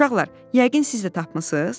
Uşaqlar, yəqin siz də tapmısız?